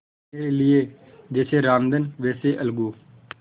मेरे लिए जैसे रामधन वैसे अलगू